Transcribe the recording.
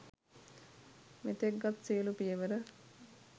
මෙතෙක් ගත් සියලූ පියවර